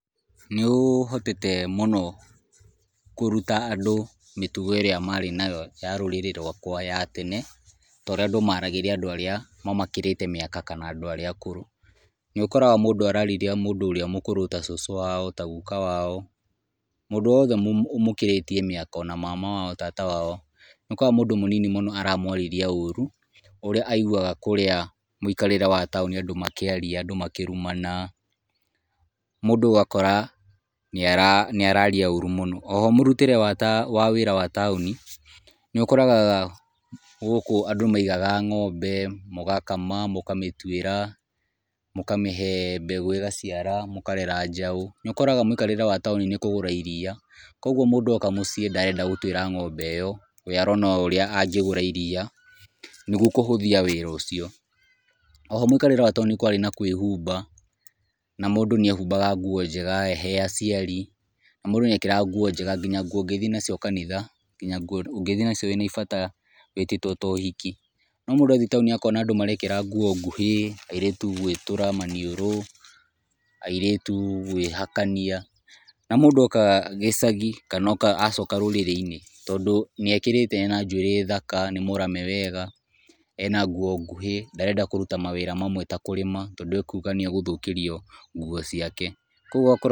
Nĩ ũhotete mũno kũruta andũ mĩtugo ĩrĩa marĩ nayo ya rũrĩrĩ rwakwa wa tene, ta ũrĩa andũ maragĩria andũ arĩa mamakĩrĩte mĩaka kana andũ arĩa akũrũ, nĩ ũkoraga mũndũ ararĩria mũndũ ũrĩa mũkũrũ ta cucu wao, ta guka wao, mũndũ wothe ũmũkĩrĩtie mĩaka, ona mama wao, tata wao nĩ ũkoraga mũndũ mũnini mũno aramwarĩria ũru, ũrĩa aiguaga kũrĩa mũikarĩre wa taũni and makĩaria, andũ makĩrumana, mũndũ ũgakora nĩ ara nĩ araria ũru mũno. Oho mũrutĩre wa wĩra wa taũni, nĩ ũkoraga gũkũ andũ maigaga ng'ombe, mũgakama, mũkamĩtuĩra, mũkamĩhe mbegũ ĩgaciara, mũkarera njaũ, nĩũkoraga mũikarĩre wa taũni nĩ kũgũra iriia, koguo mũndũ oka mũciĩ ndarenda gũtuĩra ng'ombe ĩyo, we arona o ũrĩa angĩgũra iriia, nĩguo kũhũthia wĩra ũcio. Oho mũikarĩre wa taũni nĩ kwarĩ na kwĩhumba, na mũndũ nĩ ehumbaga nguo njega he aciari na mũndũ nĩ ekĩraga nguo njega na nguo ũngĩthiĩ nacio kanitha, nginya nguo ũngĩthiĩ nacio wĩ naibata wĩtĩtwo ta ũhiki. No mũndũ athiĩ taũni akona andũ marekĩra nguo nguhĩ, airĩtu gwĩtũra maniũrũ, airĩtu kwĩhakania, na mũndũ oka gĩcagi kana oka acoka rũrĩrĩ-inĩ, tondũ nĩ ekĩrĩte ena njuĩrĩ thaka, nĩ mũrame wega, ena nguo nguhĩ, ndarenda kũruta mawĩra mamwe ta kũrĩma tondũ akuga nĩ agũthũkirio nguo ciake, koguo ũgakora.